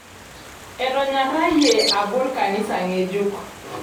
Etonyorrayie abol kanisa ng'ejuk.